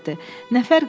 Nə fərqi var?